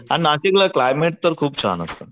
आणि नाशिकला क्लायमॅट तर खूप छान असत.